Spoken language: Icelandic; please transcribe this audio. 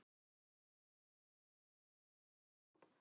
Þú hefur bara orð.